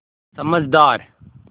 समझदार